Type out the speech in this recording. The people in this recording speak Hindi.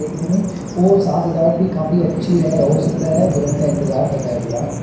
देखने में और साज सजावत भी काफी अच्छी है हो सकता है? दुल्हन का इंतजार कर रहा है दूल्हा।